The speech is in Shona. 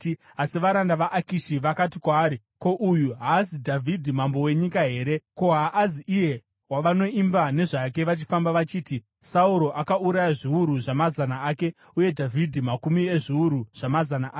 Asi varanda vaAkishi vakati kwaari, “Ko, uyu haazi Dhavhidhi mambo wenyika here? Ko, haazi iye wavanoimba nezvake vachifamba, vachiti: “ ‘Sauro akauraya zviuru zvamazana ake, uye Dhavhidhi makumi ezviuru zvamazana ake’?”